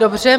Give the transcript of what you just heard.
Dobře.